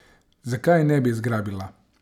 Zakaj je ne bi zgrabila?